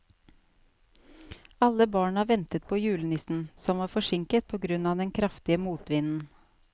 Alle barna ventet på julenissen, som var forsinket på grunn av den kraftige motvinden.